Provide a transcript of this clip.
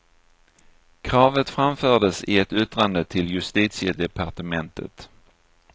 Kravet framfördes i ett yttrande till justitiedepartementet.